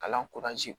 Kalan